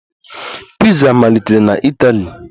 Piza malitere na Itali